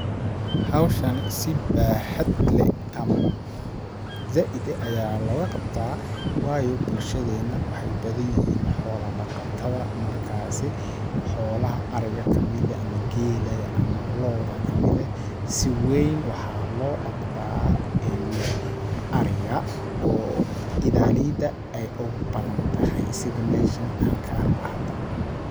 Hawshani si baahad leh ama zaaid eh ayaa looga qabtaa waayo bulshadeena waxeey u badan yihiin xoola dhaqatada ,markaasi xoolaha ariga kamid eh ama geela ga ama looda kamid eh ,si weyn waxaa loo dhaqdaa ariga oo idaaleyda ay ugu badan tahay sidi meeshan aan ka arko hada.